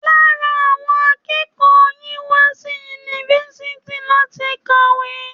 Lára àwọn akẹ́kọ̀ọ́ yìí wá sí yunifásitì láti kàwé.